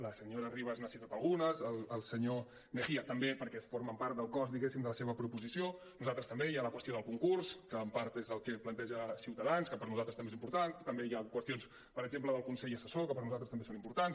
la senyora ribas n’ha citat algunes el senyor mejía també perquè formen part del cos diguéssim de la seva proposició nosaltres també hi ha la qüestió del concurs que en part és el que planteja ciutadans que per nosaltres també és important també hi ha qüestions per exemple del con·sell assessor que per nosaltres també són importants